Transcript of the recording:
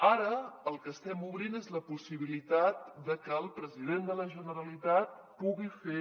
ara el que estem obrint és la possibilitat de que el president de la generalitat pugui fer